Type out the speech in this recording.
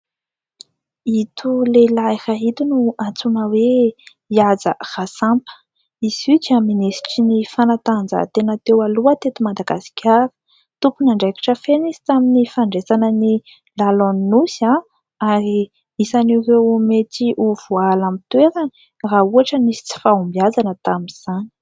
Ito lehilahy ito no antsoina hoe Ihaja Rasampa. Izy io dia minisitry ny fanatanjahantena teo aloha teto Madagasikara. Tompon'andraikitra feno izy tamin'ny fandraisana ny lalaon'ny Nosy ary isan'ireo mety ho voahala amin'ny toerany raha ohatra nisy tsy fahombiazana tamin'izany.